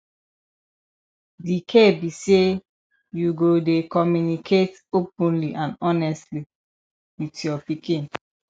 di key be say you go dey communicate openly and honestly with your pikin